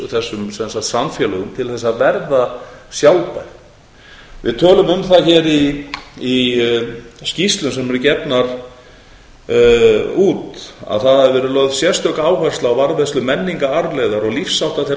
þessum samfélögum til þess að verða sjálfbær við tölum um það hér í skýrslum sem eru gefnar út að það hafi verið lögð sérstök áhersla á varðveislu menningararfleifðar og lífshátta þeirra